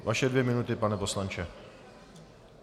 Vaše dvě minuty, pane poslanče.